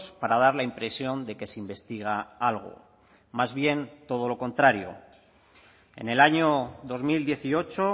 para dar la impresión de que se investiga algo más bien todo lo contrario en el año dos mil dieciocho